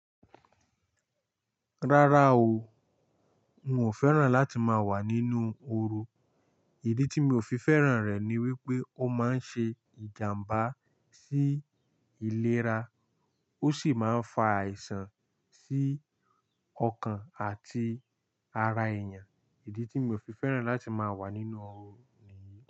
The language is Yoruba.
Rárá o, n o fẹ́ràn láti máa wà nínú oru. Ìdí tí mi ò fi fẹ́ràn rẹ̀ ni wípé ó máa ń ṣe ìjàmbá sí ìlera ó sì máa ń fa àìsàn sí ọkàn àti ara èèyàn. Ìdí tí mi ò fi fẹ́ràn láti máa wà nínú oru nìyí.